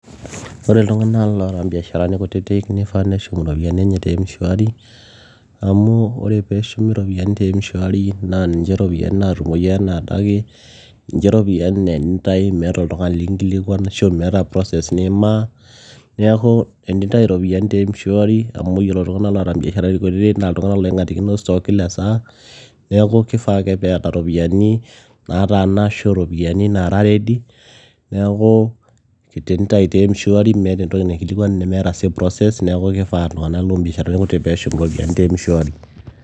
ore iltung'anak loota imbiasharani kutitik nifaa neshum iropiyiani enye te mshwari amu ore peeshumi iropiyiani te mshwari naa ninche iropiyiani naatumoi enaa adake ninche ropiyiani naa enintai meeta oltung'ani likinkilikuan ashu meeta process nimaa neeku enintai iropiyiani te mshwari amu yiolo iltung'anak loota imbiasharani kutitik naa iltung'anak loing'atikino stock[cs[ kila saa neeku kifaa ake peeta iropiyiani nataana ashu iropiyiani nara ready neeku tenintai te mshwari meeta entoki naikilikuan nemeeta sii process neeku kifaa iltung'anak loombiasharani kutitik peeshum iropiyiani te mshwari.